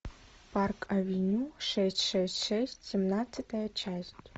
парк авеню шесть шесть шесть семнадцатая часть